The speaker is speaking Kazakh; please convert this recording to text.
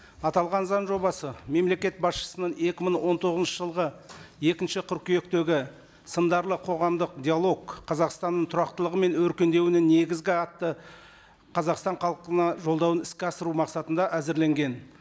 аталған заң жобасы мемлекет басшысының екі мың он тоғызыншы жылғы екінші қыркүйектегі сындарлы қоғамдық диалог қазақстанның тұрақтылығы мен өркендеуінің негізі атты қазақстан халқына жолдауын іске асыру мақсатында әзірленген